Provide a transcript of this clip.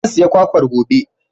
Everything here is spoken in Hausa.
Zan saya kwakwar gobe.